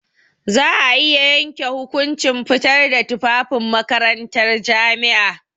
Za a iya yanke hukunci fitar da tufafin makarantar jami'a.